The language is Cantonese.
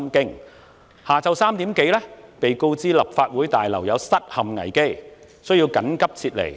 當天下午3時多，我們被告知立法會大樓有失陷危機，需要緊急撤離。